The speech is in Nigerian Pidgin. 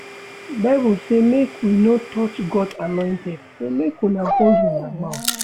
Bible say make we no touch God's anointed so make una hold una mouth